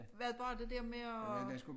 Hvad bare det der med og